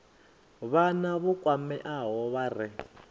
vhana vho kwameaho vha re